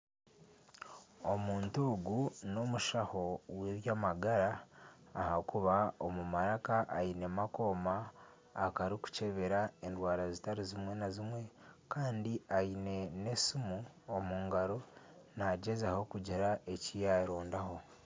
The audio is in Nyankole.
Omuntu ogu n'omushaho w'eby'amagara ahakuba omu maraka ainemu akooma akarikukyebera endwara zitari zimwe na zimwe kandi aine n'esiimu omu ngaro nagyezaho kugira eki yarondaho.